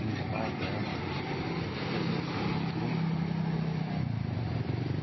E o pai dela tornou-se meu grande amigo.